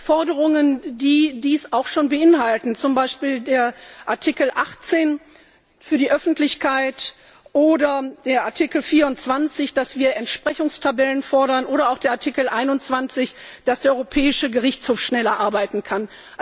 Forderungen, die dies auch schon beinhalten, zum Beispiel der Artikel 18 für die Öffentlichkeit oder der Artikel 24, wo wir Entsprechungstabellen fordern, oder auch der Artikel 21, wo es darum geht, dass der Europäische Gerichtshof schneller arbeiten kann.